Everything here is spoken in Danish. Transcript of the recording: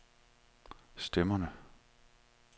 stemmerne